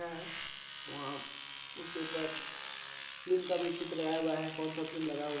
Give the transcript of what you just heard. है वहाँ उसके ऊपर फिल्म का चित्र भी लगाया हुआ है कौन सा फिल्म लगा हुआ है।